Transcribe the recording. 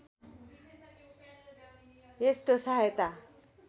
यस्तो सहायता